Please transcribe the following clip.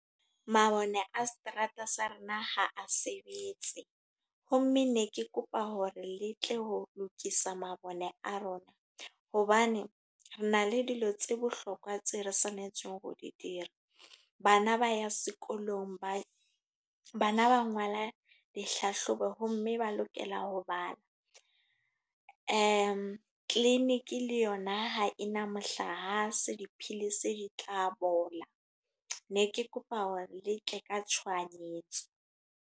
Mabone a seterata sa rona ha a sebetse. Ho mme ne ke kopa hore le tle ho lokisa mabone a rona. Hobane, re na le dilo tse bohlokwa tse re tshwanetseng ho di dira. Bana ba ya sekolong, ba bana ba ngwala dihlahlobo, ho mme ba lokela ho bala. Clinic le yona ha ena mohlahase, dipilisi di tla bola. Ne ke kopa hore le tle ka tshohanyetso.